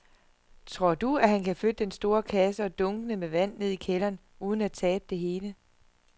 Tror du, at han kan flytte den store kasse og dunkene med vand ned i kælderen uden at tabe det hele?